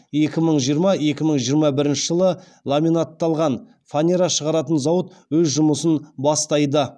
екі мың жиырма екі мың жиырма бірінші жылы ламинатталған фанера шығаратын зауыт өз жұмысын бастайды